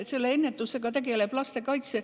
Selle ennetusega tegeleb lastekaitse.